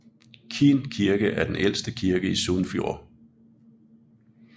Kinn kirke er den ældste kirke i Sunnfjord